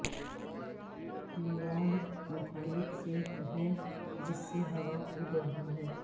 leeward مخالف سمت ہے جس سے ہوا اڑ رہا ہے